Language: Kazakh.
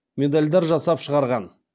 медальдар жасап шығарған